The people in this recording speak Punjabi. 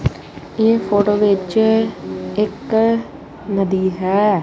ਇਹ ਫੋਟੋ ਵਿੱਚ ਇੱਕ ਨਦੀ ਹੈ।